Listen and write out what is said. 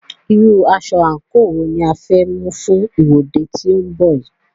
Irú aṣọ/àǹkò wo ni a fẹ́ mú fún ìwọ́de tí ó ń bọ̀ yìí?